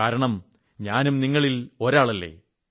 കാരണം ഞാനും നിങ്ങളിൽ ഒരാളല്ലേ